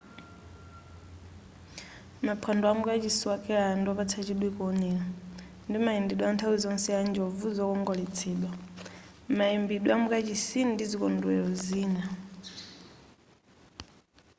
maphwando amu kachisi wa kerala ndiwopatsa chidwi kuonera ndi mayendedwe anthawi zonse a njovu zokongoletsedwa mayimbidwe amukachisi ndi zikondwelero zina